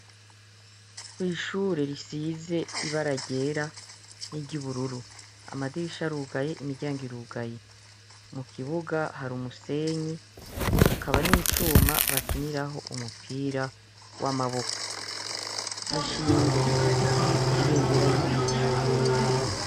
Kw'ishuri risize ibara ryera niry'ubururu amadirisha arugaye imiryango irugaye. Mukibuga har'umusenyi hakaba n'icuma bakiniraho umupira w'amaboko; hashinze igiti kiriko ibendera ry'Igihugu c'Uburundi.